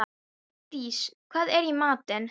Dís, hvað er í matinn?